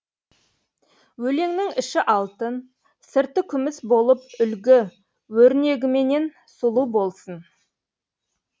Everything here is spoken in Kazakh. өлеңнің іші алтын сырты күміс болып үлгі өрнегіменен сұлу болсын